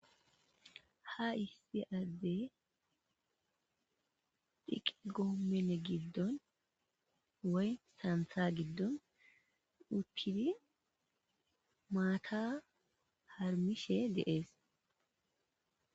Ha issi addey xiiqqille goomenne giiddon woy saanththa giiddon uttiddi maatta haarmmishshe de'ess.